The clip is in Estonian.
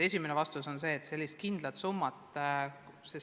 Mu vastus on, et sellist kindlat summat ei ole.